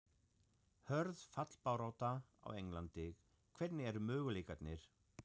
Hörð fallbarátta á Englandi- Hvernig eru möguleikarnir?